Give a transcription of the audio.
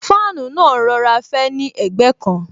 Fáànù náà ń rọra fẹ́ ni ẹ̀gbẹ́ kan